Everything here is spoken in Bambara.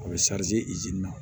A bɛ izini na